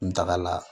N tagala